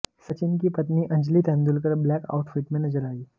सचिन की पत्नी Anjali Tendulkar black outfit में नजर आईं